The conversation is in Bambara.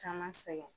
Caman sɛgɛn